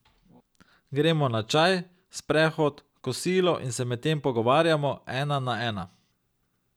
Gremo na čaj, sprehod, kosilo in se medtem pogovarjamo, ena na ena.